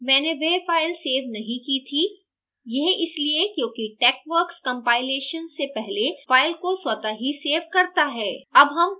ध्यान दें मैंने वह file सेव नहीं की थी यह इसलिए क्योंकि texworks compilation से पहले file को स्वतः ही सेव करता है